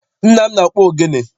Nna m na-akpụ ogene.